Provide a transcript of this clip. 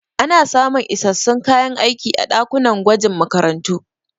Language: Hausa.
Ana samun isassun kayan aiki a ɗakunan gwajin makarantu.